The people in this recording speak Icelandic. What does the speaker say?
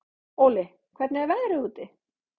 Óli, hvernig er veðrið úti?